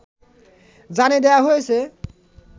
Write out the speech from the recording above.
জানিয়ে দেয়া হয়েছে